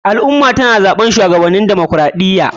Al ummah tana zaɓen shuwagabaninsu na demaokaraɗiya